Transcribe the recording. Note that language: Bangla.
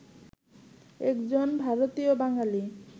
একজন ভারতীয় বাঙালি